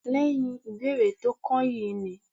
Lẹ́yìn ìbéèrè tó kányìn yìí ni